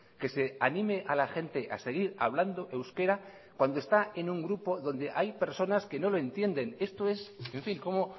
que se anime a la gente a seguir hablando euskera cuando está en un grupo donde hay personas que no lo entiendes esto es en fin cómo